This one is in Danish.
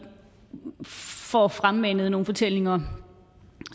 får fremmanet nogle fortællinger